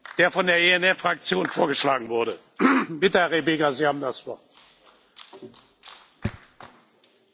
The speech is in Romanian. Domnule Președinte, dragi colegi, aceste alegeri au loc în cel mai critic moment al existenței Uniunii Europene.